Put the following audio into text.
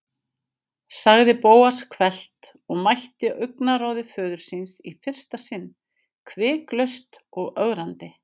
sagði Bóas hvellt og mætti augnaráði föður síns í fyrsta sinn, hviklaust og ögrandi.